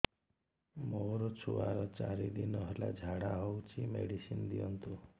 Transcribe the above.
ମୋର ଛୁଆର ଚାରି ଦିନ ହେଲା ଝାଡା ହଉଚି ମେଡିସିନ ଦିଅନ୍ତୁ